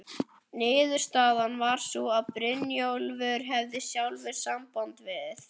Niðurstaðan varð sú að Brynjólfur hefði sjálfur samband við